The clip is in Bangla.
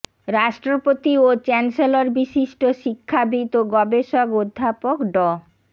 রাষ্ট্রপতি ও চ্যান্সেলর বিশিষ্ট শিক্ষাবিদ ও গবেষক অধ্যাপক ড